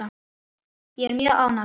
Ég er mjög ánægð.